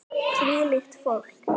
Hvílíkt fólk!